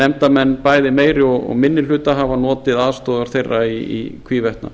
nefndarmenn bæði meiri og minni hluta hafa notið aðstoðar þeirra í hvívetna